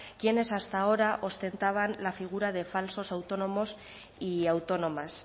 quienes hasta ahora ostentaban la figura de falsos autónomos y autónomas